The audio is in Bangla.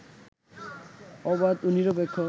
অবাধ ও নিরপেক্ষ